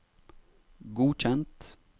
godkjent